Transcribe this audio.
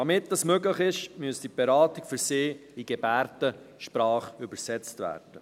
Damit dies möglich ist, müsste die Beratung für sie in Gebärdensprache übersetzt werden.